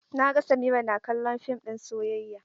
Na ga Samira na kallon fim ɗin soyayya.